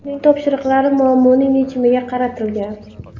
Uning topshiriqlari muammoning yechimiga qaratilgan.